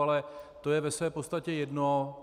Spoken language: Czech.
Ale to je ve své podstatě jedno.